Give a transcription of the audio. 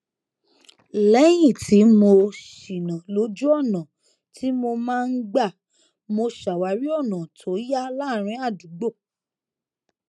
léyìn tí mo ṣìnà lójú ọnà tí mo máa n gbà mo ṣàwárí ọnà tó yá láàárín àdúgbò